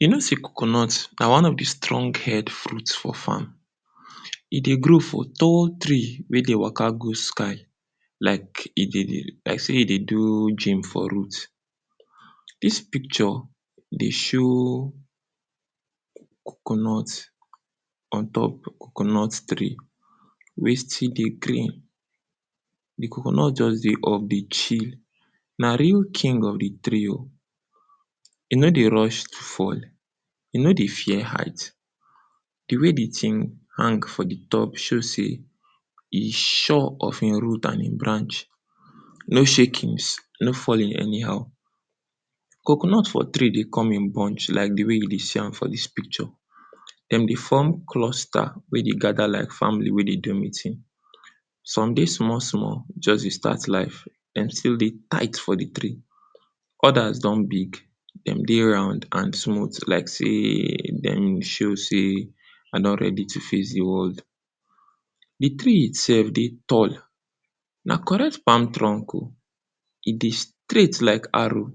You know sey coconut na one of di strong head fruit for farm. E dey grow for tall tree wey dey waka go sky, like e dey, like sey e dey do gym for root. Dis picture dey show coconut on top coconut tree wey still dey green. Di coconut just dey up dey chill, na real king of di tree o. E no dey rush fall, e no dey fear height. Di way di tin hang for di top show sey, e sure of e root and e branch, no shakings, no falling anyhow. Coconut for tree dey come in bunch like di way you dey see am for dis picture. Dem dey form cluster wey dey gada like family wey dey do meeting, some dey small small, just dey start life, den still dey tight for di tree, odas don big, dem dey round and smoot like sey dem show sey I don ready to face di world. Di tree itself dey tall, na correct palm trunk o, e dey straight like arrow.